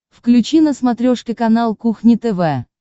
включи на смотрешке канал кухня тв